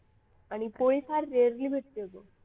आणि पुढे फार rarely भेटते इथे